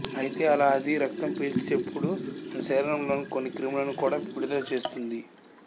అయితే అలా అది రక్తం పీల్చేప్పుడు మన శరీరంలోకి కొన్ని క్రిములను కూడా విడుదల చేస్తుంది